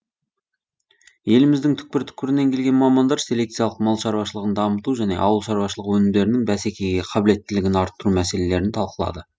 еліміздің түкпір түкпірінен келген мамандар селекциялық мал шаруашылығын дамыту және ауыл шаруашылығы өнімдерінің бәсекеге қабілеттілігін арттыру мәселелерін талқылады